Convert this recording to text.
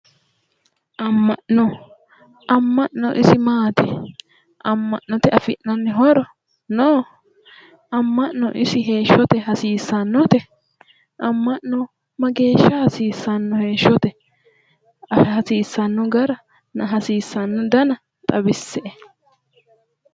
Amma'no. Amma'no isi maati? Amma'note afi'nanni horo no? Amma'no isi heeshshote hasiissannote? Amma'no mageeshsha hasiissanno heeshshote? Hasiissanno garanna hasiissanno dana xawisse"e.